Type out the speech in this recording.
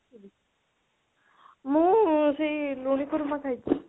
ମୁଁ ସେଇ ଲୁଣି କୁରୁମା ଖାଇଛି